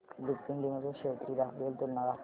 Lupin limited shares ची graphical तुलना दाखव